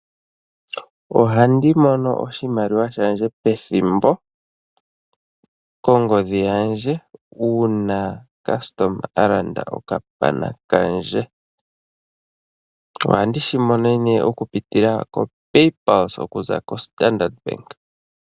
Ohandi mono oshimaliwa shandje pethimbo kongodhi yandje uuna omuntu a landa okapana kandje. Ohandi shi monene oku pitila koPayPulse okuza koStandard bank.